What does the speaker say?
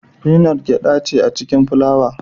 Finot Gyaɗa ce a cikin fulawa